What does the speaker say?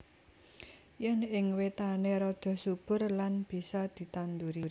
Yen ing wetané rada subur lan bisa ditanduri